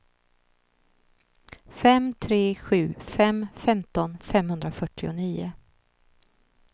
fem tre sju fem femton femhundrafyrtionio